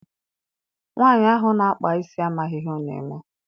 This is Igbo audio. Nwaanyi ahụ na-akpa isi amaghị ihe ọ na-eme.